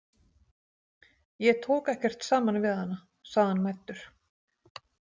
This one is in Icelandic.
Ég tók ekkert saman við hana, sagði hann mæddur.